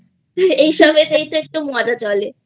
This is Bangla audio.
এসব একটু মজা চলে